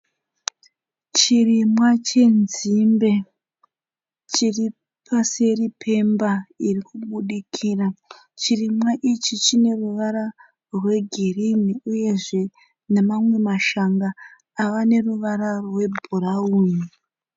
Chirimwa chenzimbe chiri paseri pemba iri kubudikira. Chirimwa ichi chine ruvara rwegirini uyezve namamwe mashanga ava neruvara rwebhurawuni.